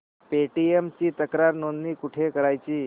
Paytm ची तक्रार नोंदणी कुठे करायची